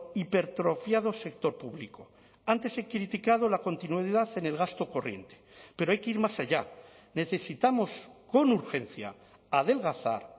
hipertrofiado sector público antes he criticado la continuidad en el gasto corriente pero hay que ir más allá necesitamos con urgencia adelgazar